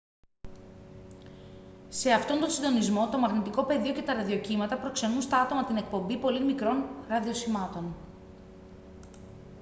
σε αυτόν τον συντονισμό το μαγνητικό πεδίο και τα ραδιοκύματα προξενούν στα άτομα την εκπομπή πολύ μικρών ραδιοσημάτων